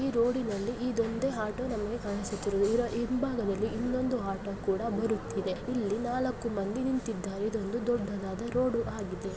ಇದು ಒಂದು ಆಟೋ ವಿನ ಚಿತ್ರಣವಾಗಿದೆ ಈ ಆಟೋ ಗಾಗಿ ನಾಲ್ಕು ಮಂದಿ ವ್ಯಕ್ತಿಗಳು ನಿಂತಿದ್ದಾರೆ ಆಟೋ ದಲ್ಲಿ ಹೋಗಲು ಅವರನ್ನು ಕೇಳುತ್ತಾ ಇದ್ದಾರೆ. ಈ ರೋಡಿ ನಲ್ಲಿ ಇದೊಂದೇ ಆಟೋ ಕಾಣುತ್ತಿರುವುದು ಇದರ ಹಿಂಭಾಗದಲ್ಲಿ ಇನ್ನೊಂದು ಆಟೋ ಬರುತ್ತಿವೆ. ಇಲ್ಲಿ ನಾಲ್ಕು ಮಂದಿ ನಿಂತಿದ್ದಾರೆ. ಇದೊಂದು ದೊಡ್ಡದಾದ ರೋಡು ಆಗಿದೆ.